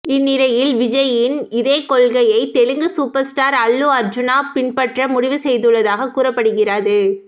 இந்நிலையில் விஜய்யின் இதே கொள்கையை தெலுங்கு சூப்பர் ஸ்டார் அல்லு அர்ஜூனா பின்பற்ற முடிவு செய்துள்ளதாக கூறப்படுகிறது